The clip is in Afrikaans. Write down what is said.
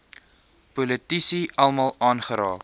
politici almal aangeraak